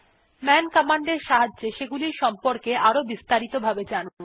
মান কমান্ড এর সাহায্যে সেগুলির সম্পর্কে আরো বিস্তারিত ভাবে জানুন